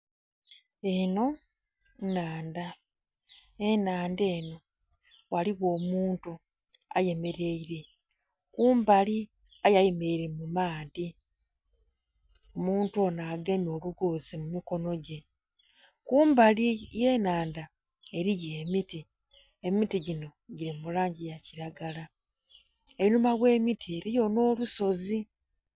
Eno nnhandha, enhandha eno ghaligho omuntu ayemeraire kumbali aye ayemeraire mumaadhi, omuntu ono agemye olugozi mumikonogye. Kumbali ogh'enhandha eriyo emiti, emiti gino giri mulangi eyakiragala einhuma gh'emiti eriyo n'olusozi.